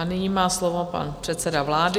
A nyní má slovo pan předseda vlády.